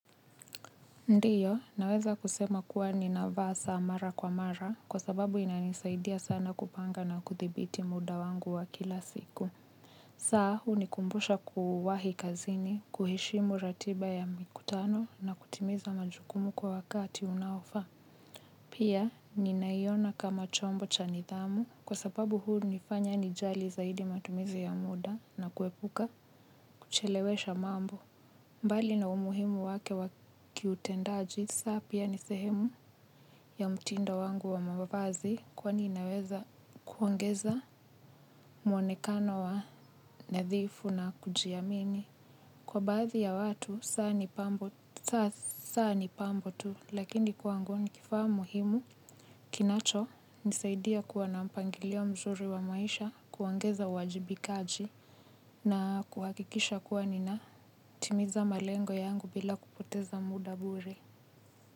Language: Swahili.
Ndiyo, naweza kusema kuwa ninavaa saa mara kwa mara kwa sababu inanisaidia sana kupanga na kuthibiti muda wangu wa kila siku. Saa, hunikumbusha kuwahi kazini, kuheshimu ratiba ya mikutano na kutimiza majukumu kwa wakati unaofaa. Pia, ninaiona kama chombo cha nidhamu kwa sababu hunifanya nijali zaidi matumizi ya muda na kuepuka, kuchelewesha mambo. Mbali na umuhimu wake wa kiutendaji, saa pia ni sehemu ya mtindo wangu wa mavazi kwani inaweza kuongeza mwonekano wa nadhifu na kujiamini. Kwa baadhi ya watu, saa ni pambo tu, lakini kwangu ni kifaa muhimu. Kinachonisaidia kuwa na mpangilio mzuri wa maisha, kuongeza uwajibikaji na kuhakikisha kuwa ninatimiza malengo yangu bila kupoteza muda bure.